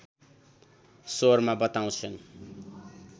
स्वरमा बताउँछन्